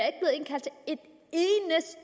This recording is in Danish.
ikke